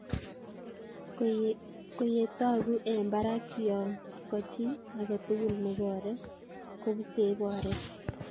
Ko ye toguu eng barak yoo ko chii agetugul ne boree ko keborei.